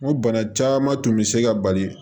N ko bana caman tun bɛ se ka bali